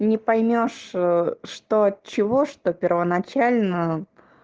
не поймёшь что от чего что первоначально